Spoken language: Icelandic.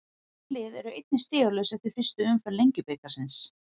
Þessi lið eru einnig stigalaus eftir fyrstu umferð Lengjubikarsins.